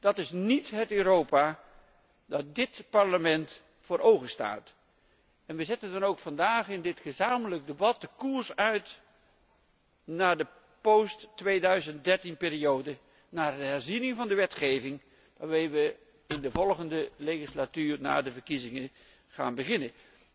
Dat is niet het Europa dat dit Parlement voor ogen staat. We zetten dan ook vandaag in dit gezamenlijk debat de koers uit naar de post 2013 periode, naar de herziening van de wetgeving waarmee we in de volgende zittingsperiode na de verkiezingen gaan beginnen.